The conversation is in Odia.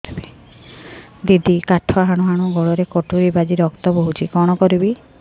ଦିଦି କାଠ ହାଣୁ ହାଣୁ ଗୋଡରେ କଟୁରୀ ବାଜି ରକ୍ତ ବୋହୁଛି କଣ କରିବି